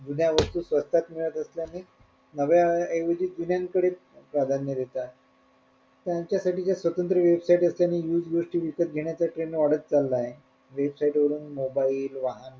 जुन्या वस्तू स्वस्तात मिळत असल्याने नव्या ऐवजी जुन्यांकडे प्राधान्य देतायत त्यांच्यासाठी ज्या स्वतंत्र website असल्याने विविध गोष्टी घेण्याचा trend वाढत चालला आहे website वरून mobile वाहन